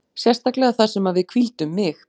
Sérstaklega þar sem að við hvíldum mig.